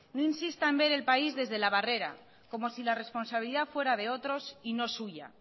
no insita en ver el país desde la barrera como si la responsabilidad fuera de otros y no suya